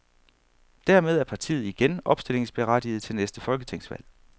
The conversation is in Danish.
Dermed er partiet igen opstillingsberettiget til næste folketingsvalg.